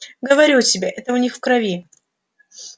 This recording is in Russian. говорю тебе это у них в крови